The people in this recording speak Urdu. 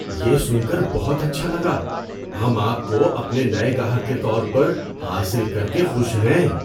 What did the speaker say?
یہ سن کر بہت اچھا لگا! ہم آپ کو اپنے نئے گاہک کے طور پر حاصل کر کے خوش ہیں۔